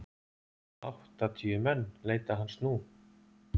Áttatíu menn leita hans nú.